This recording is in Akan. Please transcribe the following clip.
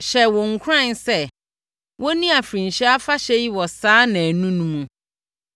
hyɛɛ wɔn nkuran sɛ, wɔnni afirinhyia afahyɛ yi wɔ saa nnanu no mu.